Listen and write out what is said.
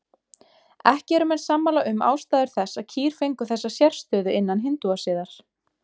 Ekki eru menn sammála um ástæður þess að kýr fengu þessa sérstöðu innan hindúasiðar.